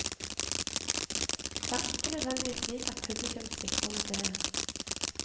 Det er ikke nødvendigvis slik at publikum svikter museet.